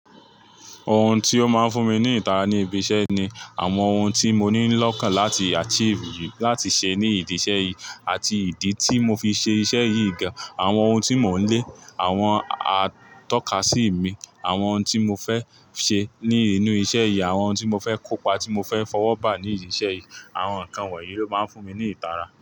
Ohun tí ó máa ń fún mi ní ìtara ní ibi iṣẹ́ ni àwọn ohun tí mo nílò kan láti achieve, láti ṣe ní ìdí iṣẹ́ yìí àti ìdí tí mo fi ṣe iṣẹ́ yìí gan-an, àwọn ohun tí mò ń lé, àwọn atọ́ka sí ìmi, àwọn ohun tí mo fẹ́ ṣe ní inú iṣẹ́ yìí, àwọn ohun tí mo fẹ́ kópa tí mo fẹ́ fọwọ́ bà nídi iṣẹ́ yìí. Àwọn nǹkan wọ̀nyí ló máa ń fún mi ní ìtara.